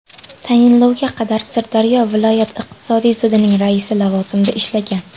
Tayinlovga qadar Sirdaryo viloyat iqtisodiy sudining raisi lavozimida ishlagan.